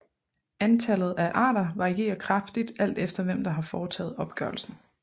Antallet af arter varierer kraftigt alt efter hvem der har foretaget opgørelsen